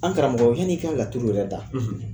An karamɔgɔ yan'i ka katuru yɛrɛ da